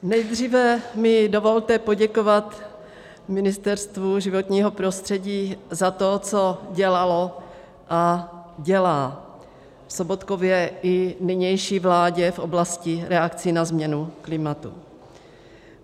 Nejdříve mi dovolte poděkovat Ministerstvu životního prostředí za to, co dělalo a dělá, v Sobotkově i nynější vládě v oblasti reakcí na změnu klimatu.